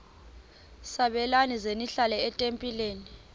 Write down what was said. sabelani zenihlal etempileni